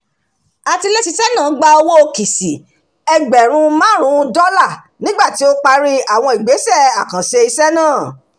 atiléṣiṣẹ́ náà gba owó kìṣì ẹgbẹ̀rún márùn-ún dọ́lá̀ nígbà tí ó parí àwọn ìgbésẹ̀ àkànṣe iṣẹ́ náà